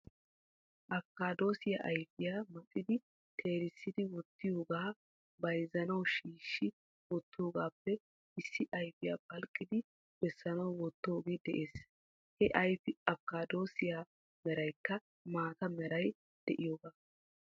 Afikkadossiya ayfiyaa maxidi teerisidi wottidooga bayzzanaw shiishshi wottidoogappe issi ayfiya phalqqidi bessanaw wottidooge de'ees. He ayfikkadossiya meraykka maata meray de'iyooga.